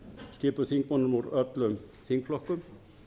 skipuð þingmönnum úr öllum þingflokkum